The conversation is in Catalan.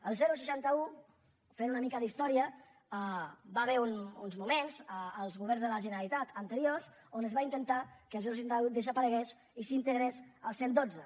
el seixanta un fent una mica d’història hi va haver uns moments als governs de la generalitat anteriors on es va intentar que el seixanta un desaparegués i s’integrés al cent i dotze